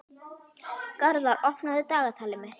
Garðar, opnaðu dagatalið mitt.